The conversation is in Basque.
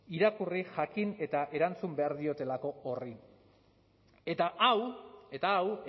irakurri jakin eta erantzun behar diotelako horri eta hau eta hau